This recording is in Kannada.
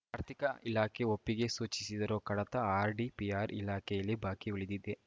ಆರ್ಥಿಕ ಇಲಾಖೆ ಒಪ್ಪಿಗೆ ಸೂಚಿಸಿದ್ದರೂ ಕಡತ ಆರ್‌ಡಿಪಿಆರ್‌ ಇಲಾಖೆಯಲ್ಲಿ ಬಾಕಿ ಉಳಿದಿದೆ